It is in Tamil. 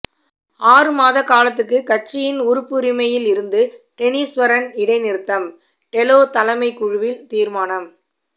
ஆறுமாத காலத்துக்கு கட்சியின் உறுப்புரிமையில் இருந்து டெனிஸ்வரன் இடைநிறுத்தம் டெலோ தலைமைக்குழுவில் தீர்மானம்